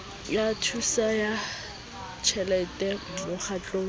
ya thuso ya tjhelete mokgatlong